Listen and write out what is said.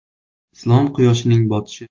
Islom quyoshining botishi.